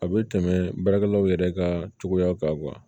A bɛ tɛmɛ baarakɛlaw yɛrɛ ka cogoyaw kan